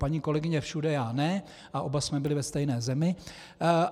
Paní kolegyně všude, já ne a oba jsme byli ve stejné zemi.